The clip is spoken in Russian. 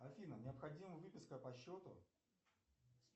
афина необходима выписка по счету